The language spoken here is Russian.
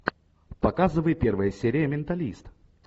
показывай первая серия менталист